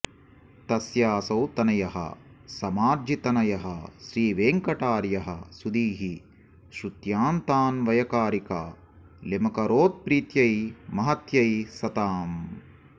तस्यासौ तनयः समार्जितनयः श्रीवेङ्कटार्यः सुधीः श्रुत्यन्तान्वयकारिकालिमकरोत्प्रीत्यै महत्यै सताम्